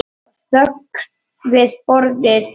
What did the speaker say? Það var þögn við borðið.